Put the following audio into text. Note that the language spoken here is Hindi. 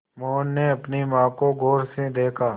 मोहन ने अपनी माँ को गौर से देखा